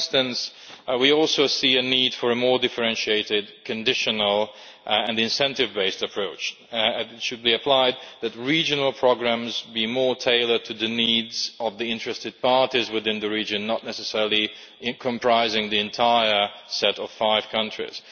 For instance, we also see a need for a more differentiated, conditional and incentive-based approach, and it should be applied so that regional programmes are more tailored to the needs of the interested parties within the region, not necessarily comprising the entire set of five countries.